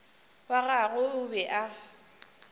wa gagwe o be a